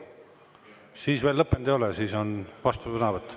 Siis veel lõppenud ei ole, siis on vastusõnavõtt.